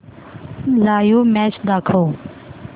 live match दाखव